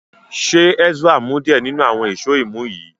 ṣe Ezra mu diẹ ninu awọn Èṣó imú yí?